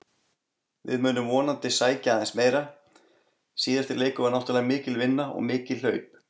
Við munum vonandi sækja aðeins meira, síðasti leikur var náttúrulega mikil vinna og mikil hlaup.